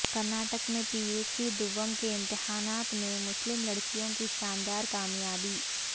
کرناٹک میں P U C دوم کے امتحانات میں مسلم لڑکیوں کی شاندار کامیابی